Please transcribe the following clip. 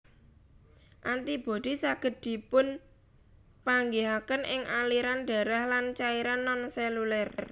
Antibodi saged dipunpanggihaken ing aliran darah lan cairan nonseluler